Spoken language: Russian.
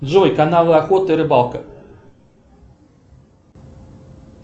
джой канал охота и рыбалка